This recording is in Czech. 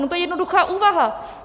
No to je jednoduchá úvaha.